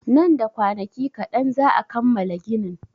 Nan da kwanaki kaɗan za'a kammala ginin.